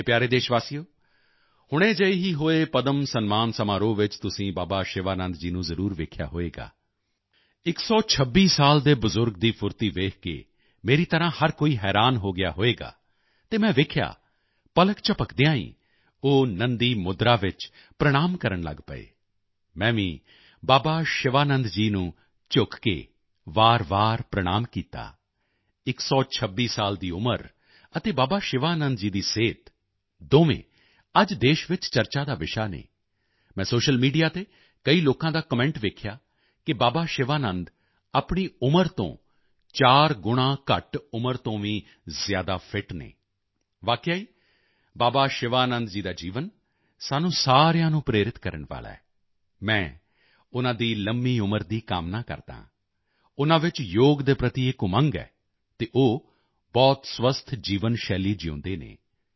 ਮੇਰੇ ਪਿਆਰੇ ਦੇਸ਼ਵਾਸੀਓ ਹੁਣੇ ਜਿਹੇ ਹੀ ਹੋਏ ਪਦਮ ਸਨਮਾਨ ਸਮਾਰੋਹ ਵਿੱਚ ਤੁਸੀਂ ਬਾਬਾ ਸ਼ਿਵਾਨੰਦ ਜੀ ਨੂੰ ਜ਼ਰੂਰ ਦੇਖਿਆ ਹੋਵੇਗਾ 126 ਸਾਲ ਦੇ ਬਜ਼ੁਰਗ ਦੀ ਫੁਰਤੀ ਦੇਖ ਕੇ ਮੇਰੀ ਤਰ੍ਹਾਂ ਹਰ ਕੋਈ ਹੈਰਾਨ ਹੋ ਗਿਆ ਹੋਵੇਗਾ ਅਤੇ ਮੈਂ ਦੇਖਿਆ ਪਲਕ ਝਪਕਦਿਆਂ ਹੀ ਉਹ ਨੰਦੀ ਮੁਦਰਾ ਵਿੱਚ ਪ੍ਰਣਾਮ ਕਰਨ ਲਗ ਪਿਆ ਮੈਂ ਵੀ ਬਾਬਾ ਸ਼ਿਵਾਨੰਦ ਜੀ ਨੂੰ ਝੁਕ ਕੇ ਵਾਰਵਾਰ ਪ੍ਰਣਾਮ ਕੀਤਾ 126 ਸਾਲ ਦੀ ਉਮਰ ਅਤੇ ਬਾਬਾ ਸ਼ਿਵਾਨੰਦ ਜੀ ਦੀ ਫਿਟਨੈੱਸ ਦੋਵੇਂ ਅੱਜ ਦੇਸ਼ ਵਿੱਚ ਚਰਚਾ ਦਾ ਵਿਸ਼ਾ ਹਨ ਮੈਂ ਸੋਸ਼ਲ ਮੀਡੀਆ ਤੇ ਕਈ ਲੋਕਾਂ ਦਾ ਕਮੈਂਟ ਦੇਖਿਆ ਕਿ ਬਾਬਾ ਸ਼ਿਵਾਨੰਦ ਆਪਣੀ ਉਮਰ ਤੋਂ 4 ਗੁਣਾ ਘੱਟ ਉਮਰ ਤੋਂ ਵੀ ਜ਼ਿਆਦਾ ਫਿੱਟ ਹਨ ਵਾਕਿਆ ਹੀ ਬਾਬਾ ਸ਼ਿਵਾਨੰਦ ਦਾ ਜੀਵਨ ਸਾਨੂੰ ਸਾਰਿਆਂ ਨੂੰ ਪ੍ਰੇਰਿਤ ਕਰਨ ਵਾਲਾ ਹੈ ਮੈਂ ਉਨ੍ਹਾਂ ਦੀ ਲੰਮੀ ਉਮਰ ਦੀ ਕਾਮਨਾ ਕਰਦਾ ਹਾਂ ਉਨ੍ਹਾਂ ਚ ਯੋਗ ਦੇ ਪ੍ਰਤੀ ਇੱਕ ਉਮੰਗ ਹੈ ਅਤੇ ਉਹ ਬਹੁਤ ਹੈਲਥੀ ਲਾਈਫਸਟਾਈਲ ਜਿਊਂਦੇ ਹਨ